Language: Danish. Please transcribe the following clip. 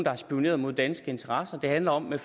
har spioneret imod danske interesser det handler om med